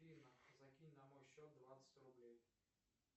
афина закинь на мой счет двадцать рублей